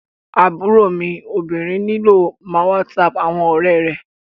Aburo mi obinrin nilo má whatsap awọn ọrẹ rẹ